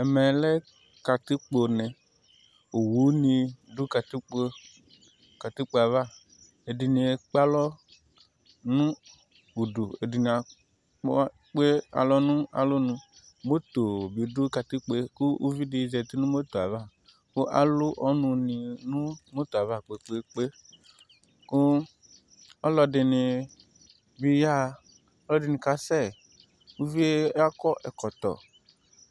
Ɛmɛ lɛ katikpo ne Owu ni du katikpo katikpo aʋa Ɛdi ni ekp'alɔ nu udu , ɛdi ni a kpɔ kpe alɔ nu alɔ nuMoto bi du katikpoe ku uʋi di zeti nu moto ava ku alu ɔnu ni nu moto ava kpe kpe kpe, ku ɔlɔ di ni bi ya ɣa, ɔlɔ di ni ka sɛ Uʋɩe akɔ ɛkɔtɔ